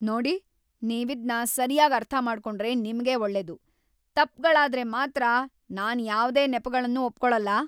ನೋಡಿ, ನೀವಿದ್ನ ಸರ್ಯಾಗ್ ಅರ್ಥಮಾಡ್ಕೊಂಡ್ರೆ ನಿಮ್ಗೇ ಒಳ್ಳೇದು. ತಪ್ಪ್‌ಗಳಾದ್ರೆ ಮಾತ್ರ ನಾನ್ ಯಾವ್ದೇ ನೆಪಗಳ್ನೂ ಒಪ್ಕೊಳಲ್ಲ.